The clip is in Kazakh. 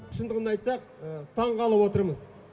шындығын айтсақ таңғалып отырмыз